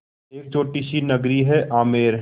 एक छोटी सी नगरी है आमेर